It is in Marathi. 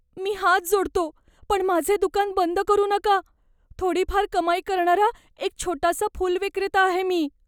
मी हात जोडतो पण माझे दुकान बंद करू नका. थोडीफार कमाई करणारा एक छोटासा फुलविक्रेता आहे मी.